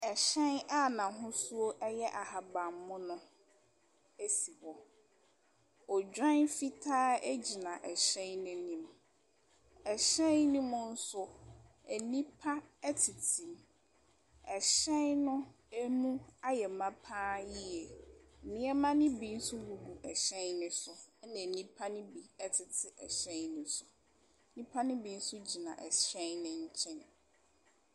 Ɛhyɛn a n'ahosuo yɛ ahaban mono si hɔ. Odwan fitaa gyina hyɛn no anim. Ɛhyɛn no mu nso, nnipa tete mu. Hyɛn no mu ayɛ ma pa ara yie. Nneɛma no bi nso gugu hyɛn no so, ɛnna nnipa no bi tete hyɛn no so. Nnipa no bi nso gyina hyɛn no nkyɛn.